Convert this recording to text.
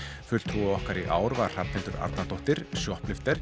fulltrúi okkar í ár var Hrafnhildur Arnardóttir